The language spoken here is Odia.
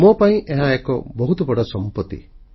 ମୋ ପାଇଁ ଏହା ଏକ ବହୁତ ବଡ଼ ସମ୍ପତ୍ତି